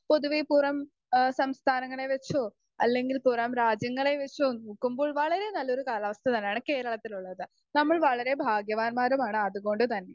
speaker 2 പൊതുവെ പുറം എഹ് സംസ്ഥാനങ്ങളെ വെച്ചോ അല്ലെങ്കിൽ പുറം രാജ്യങ്ങളെ വെച്ചോ നോക്കുമ്പോൾ വളരെ നല്ലൊരു കാലാവസ്ഥ തന്നെയാണ് കേരളത്തിലുള്ളത് അപ്പൊ നമ്മൾ വളരെ ഭാഗ്യവാന്മാരുമാണ് അതുകൊണ്ട് തന്നെ